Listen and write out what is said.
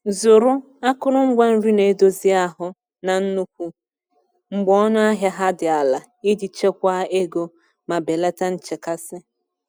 Zụrụ akụrụngwa nri na-edozi ahụ na nnukwu mgbe ọnụ ahịa ha dị ala iji chekwaa ego ma belata nchekasị.